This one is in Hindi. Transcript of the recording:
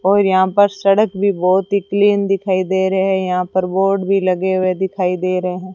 और यहां पर सड़क भी बहोत ही क्लीन दिखाई दे रहे यहां पर बोर्ड भी लगे हुए दिखाई दे रहे हैं।